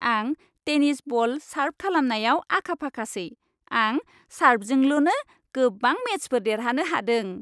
आं tennis ball सार्भ खालामनायाव आखाफाखासै। आं सार्भजोंल'नो गोबां मेचफोर देरहानो हादों।